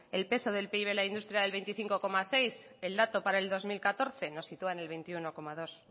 el peso del pib de la industria era del veinticinco coma seis el dato para el dos mil catorce nos sitúa en el veintiuno coma dos